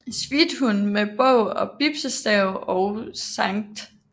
Svithun med bog og bispestav og St